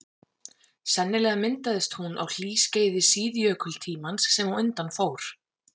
Sennilega myndaðist hún á hlýskeiði síðjökultímans sem á undan fór.